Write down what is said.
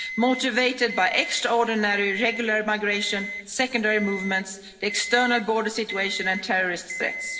the Council, motivated by extraordinary irregular migration, secondary movements, the external border situation and terrorist